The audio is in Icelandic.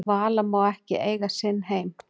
Vala má ekki eiga sinn heim